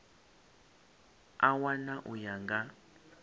a wana u ya nga